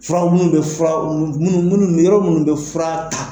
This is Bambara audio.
Furaw munni bɛ furaw munni munni yɔrɔ minnu bɛ fura ta,